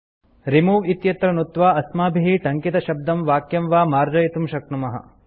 remove इत्यत्र नुत्त्वा अस्माभिः टङ्कितशब्दं वाक्यं वा मार्जयितुं शक्नुमः